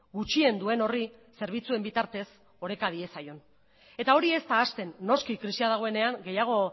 gutxien duen horri zerbitzuen bitartez oreka diezaion eta hori ez da hasten noski krisia dagoenean gehiago